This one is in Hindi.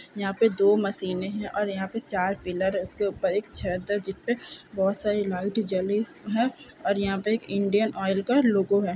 यहां पर दो मशीने है और यहां पर चार पिलर है उसके ऊपर एक छत है जिस पर बहुत सारी लाइट जली है और यहां पर इंडियन ऑयल का लोगो है।